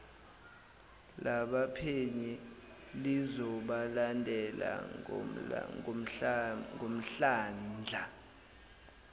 labaphenyi lizobalandela ngomdlandla